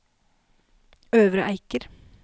Øvre Eiker